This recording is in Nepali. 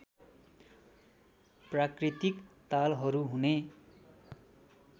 प्राकृतिक तालहरू हुने